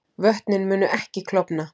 Vötnin munu ekki klofna